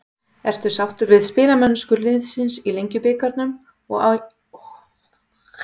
Ertu sáttur við spilamennsku liðsins í Lengjubikarnum og æfingaleikjum til þessa?